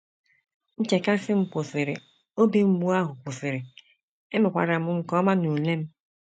Nchekasị m kwụsịrị, obi mgbu ahụ kwụsịrị, emekwara m nke ọma n’ule m. ”